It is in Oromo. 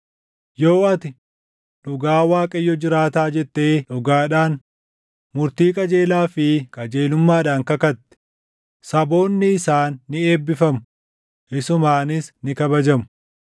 yoo ati, ‘Dhugaa Waaqayyo jiraataa’ jettee dhugaadhaan, murtii qajeelaa fi qajeelummaadhaan kakatte, saboonni isaan ni eebbifamu; isumaanis ni kabajamu.”